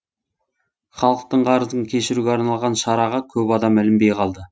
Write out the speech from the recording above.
халықтың қарызын кешіруге арналған шараға көп адам ілінбей қалды